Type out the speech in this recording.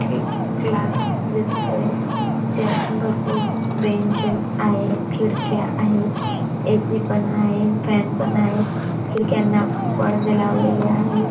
एक क्लास दिसतोय त्यात भरपूर बेंचेस आहेत खिडक्या आहेत ए सी पण आहे फॅन पण आहेत खिडक्यांना पडदे लावलेले आहेत.